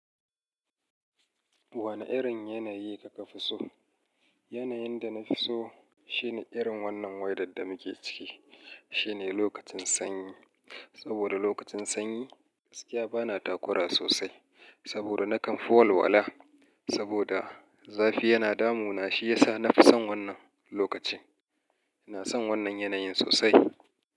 Wane irin yanayi ka ka fi so? Yanayin da na fi so shine irin wannan wedar da muke ciki, shine lokacin sanyi. Saboda lokacin sanyi, gaskiya bana takura sosai. Saboda nakan fara wala, saboda zafi yana damu na shiyasa na fi son wannan lokaci. Na son wannan yanayin sosai.